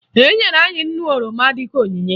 Enyere anyị nnu oroma dịka onyinye